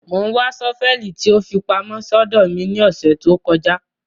Mo ńwa ṣọ́fẹlì tí ó fi pamọ́ sódó mi ni ọsẹ to kọja